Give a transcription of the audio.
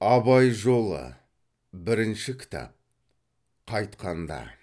абай жолы бірінші кітап қайтқанда